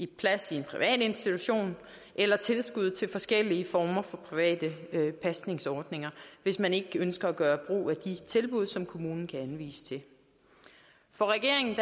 plads i en privat institution eller tilskud til forskellige former for private pasningsordninger hvis man ikke ønsker at gøre brug af de tilbud som kommunen kan anvise til for regeringen